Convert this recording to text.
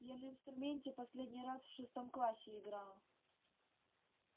я на инструменте последний раз в шестом классе играла